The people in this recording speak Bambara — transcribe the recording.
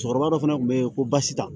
Cɛkɔrɔba dɔ fana tun bɛ yen ko basi ta